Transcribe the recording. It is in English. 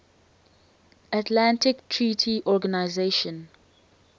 atlantic treaty organisation